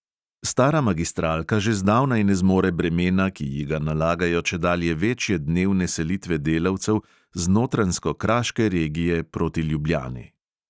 Stara magistralka že zdavnaj ne zmore bremena, ki ji ga nalagajo čedalje večje dnevne selitve delavcev z notranjsko-kraške regije proti ljubljani.